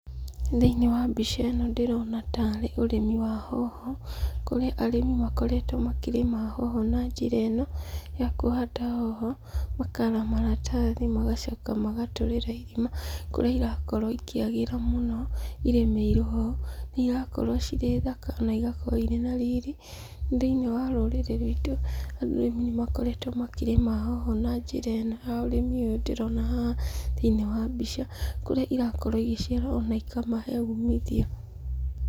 Thĩiniĩ wa mbica ĩno ndĩrona ta arĩ ũrĩmi wa hoho, kũrĩ arĩmi makoretwo makĩrĩma hoho na njĩra ĩno ya kũhanda hoho, makara maratathi, magacoka magatũrĩra irima kũrĩa ĩrakorwo ikĩagĩra mũno ĩrĩmĩirwo ho. Igakorwo cirĩ thaka, ona igakorwo irĩ na riri. Thĩiniĩ wa rũrĩrĩ rwitũ, arĩmi nĩ makoretwo makĩrĩma hoho na njĩra ĩno ya ũrĩmi ũyũ ndĩrona haha thĩiniĩ wa mbica, kũrĩa irakorwo igĩciara ona ikamahe umithio.